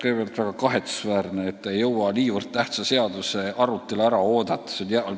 Kõigepealt, väga kahetsusväärne, et te ei jõua nii tähtsa seaduse arutelu ära oodata.